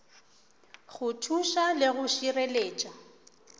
go thuša le go šireletša